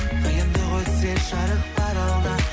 қиындық өтсе жарық бар алда